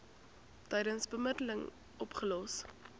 tydens bemiddeling opgelos